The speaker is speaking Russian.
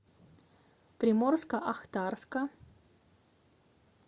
приморско ахтарска